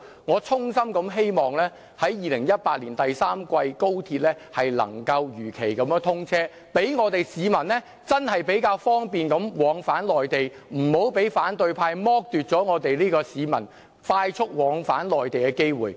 我衷心希望高鐵能夠在2018年第三季如期通車，讓市民較方便地往返內地，不要被反對派剝奪市民快速往返內地的機會。